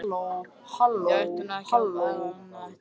Ég ætti nú ekki annað eftir.